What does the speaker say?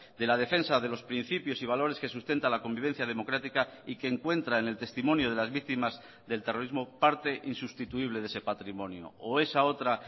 de la defensa de los principios y valores que sustenta la convivencia democrática y que encuentra en el testimonio de las víctimas del terrorismo parte insustituible de ese patrimonio o esa otra